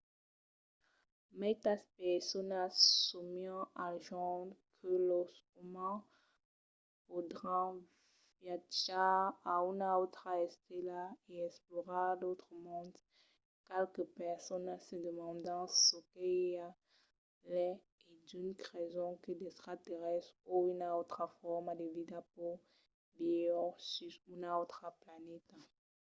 maitas personas sòmian al jorn que los umans podràn viatjar a una autra estela e explorar d'autres monds qualques personas se demandan çò que i a lai e d'unes creson que d'extraterrèstres o una autra forma de vida pòt viure sus una autra planeta